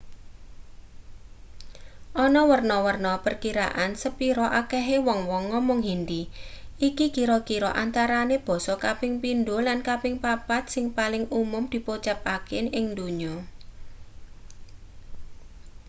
ana werna-werna perkiraan sepira akehe wong-wong ngomong hindi iki kira-kira antarane basa kaping pindho lan kaping papat sing paling umum dipocapake ing donya